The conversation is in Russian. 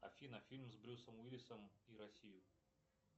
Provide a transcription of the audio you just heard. афина фильм с брюсом уиллисом и россию